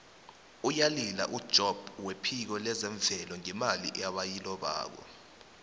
uyalila ujobb wephiko lezemvelo ngemali ebayilobako